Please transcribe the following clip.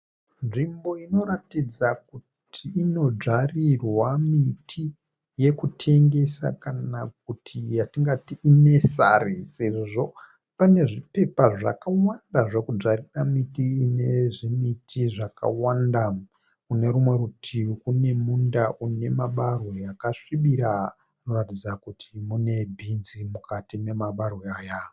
Nzvimbo inoratidza kuti inodzvarirwa miti yekutengesa kana kuti yatingati inesari sezvo pane zvipepa zvakawanda zvekudzvarira miti ine zvimiti zvakawanda. Kune rumwe rutivi kune munda une mabarwe akasvibira, unoratidza kuti mune bhinzi mukati memabarwe aya